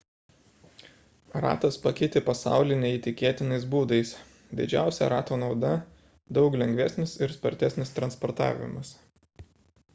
ratas pakeitė pasaulį neįtikėtinais būdais didžiausia rato nauda – daug lengvesnis ir spartesnis transportavimas